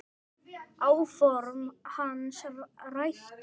Áform hans rættust ekki.